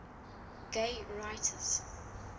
gay writers